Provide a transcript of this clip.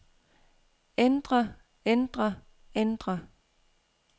ændre ændre ændre